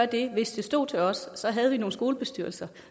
det stod til os havde vi nogle skolebestyrelser